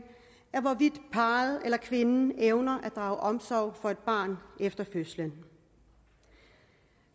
af hvorvidt parret eller kvinden evner at drage omsorg for et barn efter fødslen